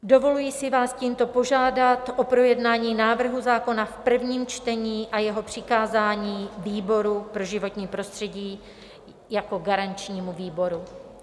Dovoluji si vás tímto požádat o projednání návrhu zákona v prvním čtení a jeho přikázání výboru pro životní prostředí jako garančnímu výboru.